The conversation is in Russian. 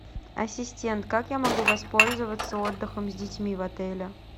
ассистент как я могу воспользоваться отдыхом с детьми в отеле